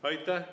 Aitäh!